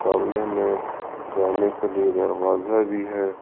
सामने में जाने के लिए दरवाजा भी है।